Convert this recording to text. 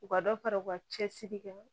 U ka dɔ fara u ka cɛsiri kan